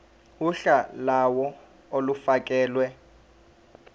uhla lawo olufakelwe